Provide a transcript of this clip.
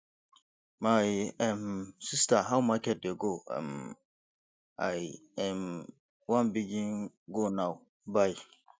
my um sista how market dey go um i um wan begin go now bye